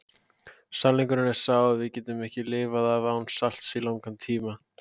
Sannleikurinn er sá að við getum ekki lifað af án salts í langan tíma.